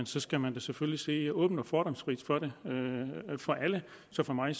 skal man selvfølgelig se åbent og fordomsfrit på det for alle så for mig